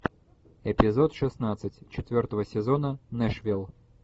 эпизод шестнадцать четвертого сезона нэшвилл